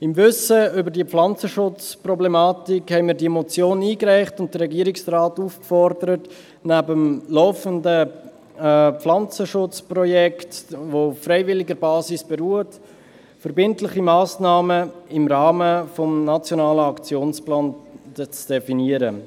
Im Wissen um diese Pflanzenschutzproblematik, haben wir diese Motion eingereicht und den Regierungsrat aufgefordert, neben dem laufenden Pflanzenschutzprojekt, das auf freiwilliger Basis beruht, verbindliche Massnahmen im Rahmen des Nationalen Aktionsplans zu definieren.